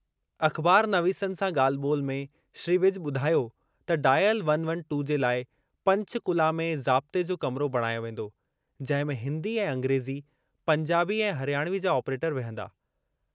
अख़बारनवीसनि सां ॻाल्हि ॿोल्हि में श्री विज ॿुधायो त डायल वन वन टू जे लाइ पंचकुला में ज़ाब्ते जो कमरो बणायो वेंदो, जंहिं में हिंदी ऐं अंग्रेज़ी, पंजाबी ऐं हरियाणवी जा ऑपरेटर विहंदा।